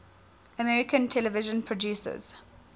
american television producers